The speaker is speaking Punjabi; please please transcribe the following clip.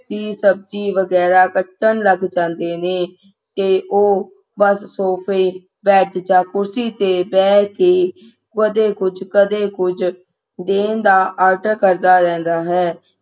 ਕੀ ਸਬਜ਼ੀ ਵਗੈਰਾ ਅਗਲੇ ਦਿਨ ਕੱਟਣ ਲੱਗ ਜਾਂਦੇ ਨੇ ਤੇ ਉਹ sofa bed ਯਾਰ ਕੁਰਸੀ ਤੇ ਬਹਿ ਕੇ ਕਦੇ ਕੁਝ ਕਦੇ ਕੁਝ ਦਿਨ ਦਾ ਆਰਡਰ ਦੇਨ ਦਾ order ਕਰਦਾ ਰਹਿੰਦਾ ਹੈ